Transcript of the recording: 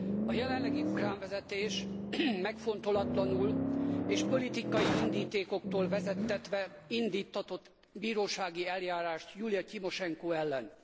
A jelenlegi ukrán vezetés megfontolatlanul és politikai indítékoktól vezettetve indíttatott bírósági eljárást Julija Timosenko ellen.